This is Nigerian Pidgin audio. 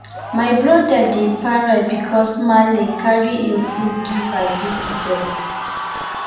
my brother dey para bicos maale carry im food give her visitor